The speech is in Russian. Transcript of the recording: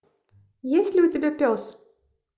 есть ли у тебя пес